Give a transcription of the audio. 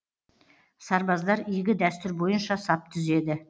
сарбаздар игі дәстүр бойынша сап түзеді